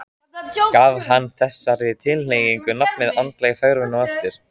Gaf hann þessari tilhneigingu nafnið andleg fegrun eftir á.